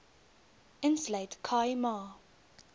insluit khai ma